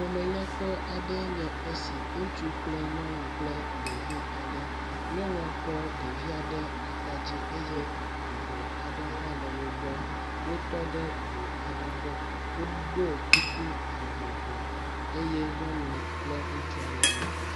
Ƒome nyakpɔ aɖe nye esi. Ŋutsu kple nyɔnu kple ɖevi aɖe. nyɔnua kɔ ɖevia ɖe ata dzi eye avu aɖe hã le wogbɔ. Wo tɔ ɖe ŋu aɖe gbɔ eye woɖɔ kuku vovovo eye nyɔnu kple ŋutsua le nukom.